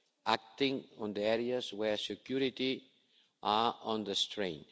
and acting on the areas where security is under strain.